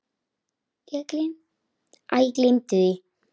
Æ, gleymdu því.